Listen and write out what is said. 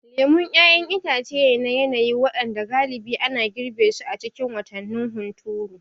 Lemu ƴaƴan itace ne na yanayi waɗanda galibi ana girbe su a cikin watannin hunturu.